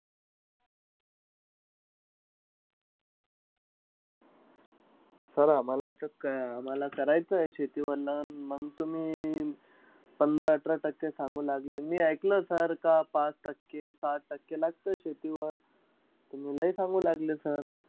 Sir आम्हाला याच्यात काय, आम्हाला करायचंय शेतीवर loan. मंग अं तुम्ही पंधरा-अठरा टक्के सांगू लागले, मी ऐकलं sir का पाच टक्के-सहा टक्के लागतंय शेतीवर. तुम्ही लय सांगू लागले sir.